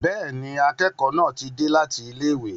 Bẹ́ẹ̀ni, akẹ́kọ̀ọ́ náà ti dé láti ilé ìwé.